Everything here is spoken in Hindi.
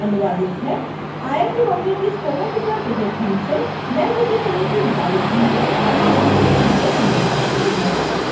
यह ट्यूटोरियल इं अमित कुमार द्वारा अनुवादित है आईआईटी बॉम्बे की स्पोकन ट्यूटोरियल टीम से मैं ज्योति सोलंकी आपसे विदा लेती हूँ हमसे जुड़ने के लिए धन्यवाद